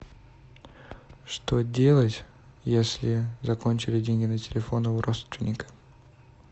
что делать если закончились деньги на телефоне у родственника